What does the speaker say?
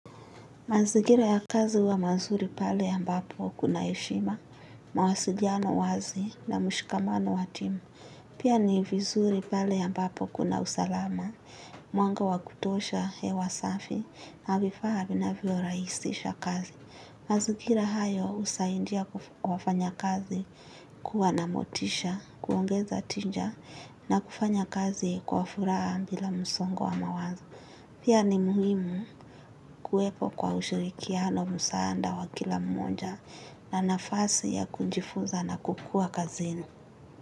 Mazingira ya kazi huwa mazuri pale ambapo kuna heshima, mawasiliano wazi na mshikamano wa timu. Pia ni vizuri pale ambapo kuna usalama, mwanga wa kutosha hewa safi na vifaa vinavyoraisisha kazi. Mazigira hayo husaindia wafanyakazi kuwa na motisha, kuongeza tinja na kufanya kazi kwa furaha mbila msongo wa mawazo. Pia ni muhimu kuwepo kwa ushirikiano musaanda wa kila mmoja na nafasi ya kunjifuza na kukua kazini.